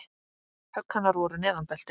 Högg hennar voru neðan beltis.